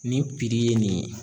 Ni piri ye nin ye